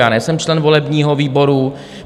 Já nejsem člen volebního výboru.